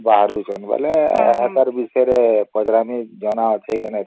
ବାହାରୁଛନ ବେଳେ ତାରି ବିଷୟରେ ପଚରାମି ଜଣା ଅଛେ କି ନାଇଁ ତମକୁ